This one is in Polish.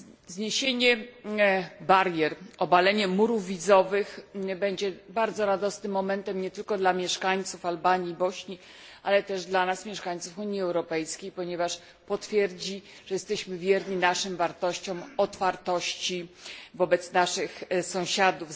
Zniesienie barier, obalenie murów wizowych będzie bardzo radosnym momentem nie tylko dla mieszkańców Albanii, Bośni, ale też dla nas, mieszkańców Unii Europejskiej, ponieważ potwierdzi, że jesteśmy wierni naszym wartościom otwartości wobec naszych sąsiadów.